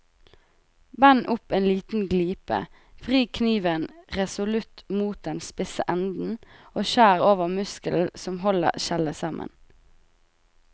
Bend opp en liten glipe, vri kniven resolutt mot den spisse enden og skjær over muskelen som holder skjellet sammen.